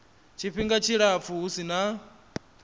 tshifhinga tshilapfu hu si na